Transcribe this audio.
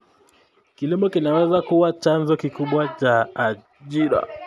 Kilimo kinaweza kuwa chanzo kikubwa cha ajira.